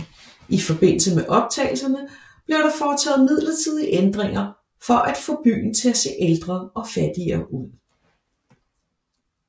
I forbindelse med optagelserne blev der foretaget midlertidige ændringer for at få byen til at se ældre og fattigere ud